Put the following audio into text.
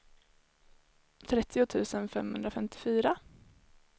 trettio tusen femhundrafemtiofyra